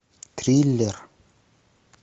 триллер